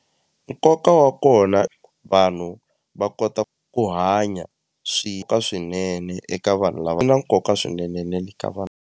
Nkoka wa kona vanhu va kota ku hanya ka swinene eka vanhu lava nkoka swinene na le ka vanhu.